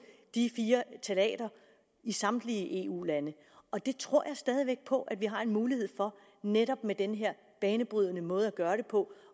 de fire ftalater i samtlige eu lande og det tror jeg stadig væk på at vi har en mulighed for netop med den her banebrydende måde at gøre det på